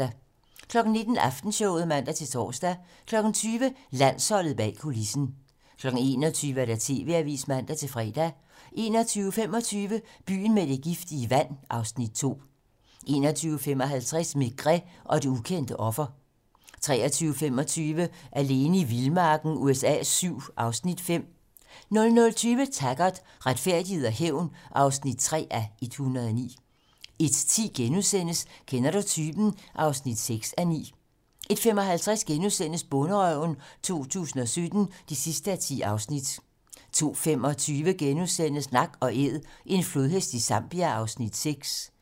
19:00: Aftenshowet (man-tor) 20:00: Landsholdet bag kulissen 21:00: TV-Avisen (man-fre) 21:25: Byen med det giftige vand (Afs. 2) 21:55: Maigret og det ukendte offer 23:25: Alene i vildmarken USA VII (Afs. 5) 00:20: Taggart: Retfærdighed og hævn (3:109) 01:10: Kender du typen? (6:9)* 01:55: Bonderøven 2017 (10:10)* 02:25: Nak & æd - en flodhest i Zambia (Afs. 6)*